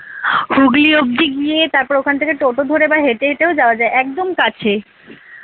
হুগলী অব্দি গিয়ে তারপর ওখান থেকে টোটো করে বা হেটে হেটেও যাওয়া যায় একদম কাছে।